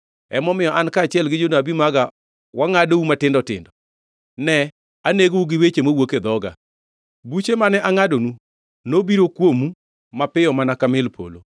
Emomiyo an kaachiel gi jonabi maga wangʼadou matindo tindo, ne anegou gi weche mawuok e dhoga; buche mane angʼadonu nobiro kuomo mapiyo mana ka mil polo.